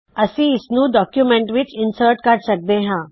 ਅਸੀ ਇਸ ਨੂੰ ਡਾਕਯੂਮੈੰਟ ਵਿੱਚ ਸਮਿਲਿਤ ਕਰ ਸਕਦੇ ਹਾ